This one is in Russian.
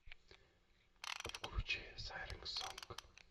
включи сайрэн сонг